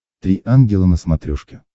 три ангела на смотрешке